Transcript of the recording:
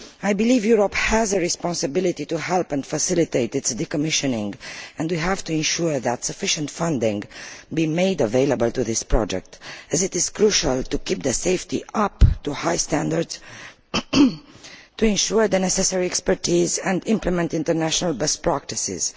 I believe Europe has a responsibility to help and facilitate its decommissioning, and we have to ensure that sufficient funding is made available to this project, as this is crucial to keep safety up to high standards, to ensure the necessary expertise and implement international best practices.